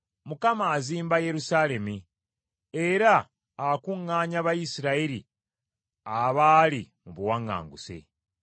Mukama azimba Yerusaalemi; era akuŋŋaanya Abayisirayiri abaali mu buwaŋŋanguse.